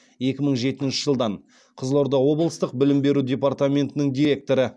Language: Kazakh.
екі мың жетінші жылдан қызылорда облыстық білім беру департаментінің директоры